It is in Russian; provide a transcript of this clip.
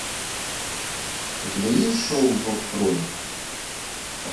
у тебя есть шоу зов крови